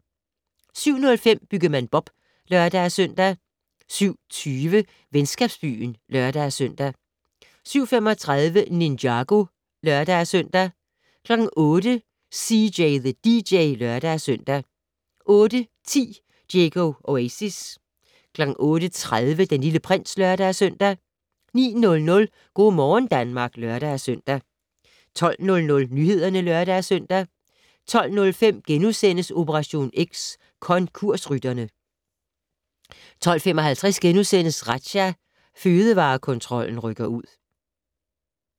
07:05: Byggemand Bob (lør-søn) 07:20: Venskabsbyen (lør-søn) 07:35: Ninjago (lør-søn) 08:00: CJ the DJ (lør-søn) 08:10: Diego Oasis 08:30: Den Lille Prins (lør-søn) 09:00: Go' morgen Danmark (lør-søn) 12:00: Nyhederne (lør-søn) 12:05: Operation X: Konkursrytterne * 12:55: Razzia - Fødevarekontrollen rykker ud *